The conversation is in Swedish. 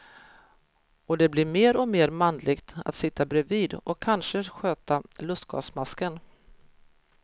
Och det blir mer och mer manligt att sitta bredvid och kanske sköta lustgasmasken.